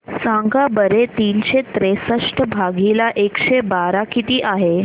सांगा बरं तीनशे त्रेसष्ट भागीला एकशे बारा किती आहे